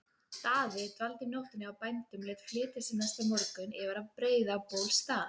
Daði dvaldi um nóttina hjá bændum og lét flytja sig næsta morgun yfir að Breiðabólsstað.